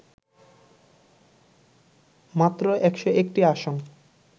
মাত্র ১০১টি আসন